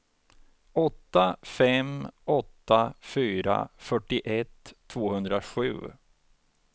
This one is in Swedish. åtta fem åtta fyra fyrtioett tvåhundrasju